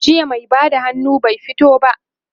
jiya mai Bada hannu bai fito ba